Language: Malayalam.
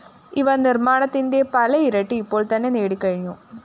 ഇവ നിര്‍മ്മാണത്തിന്റെ പല ഇരട്ടി ഇപ്പോള്‍ തന്നെ നേടിക്കഴിഞ്ഞു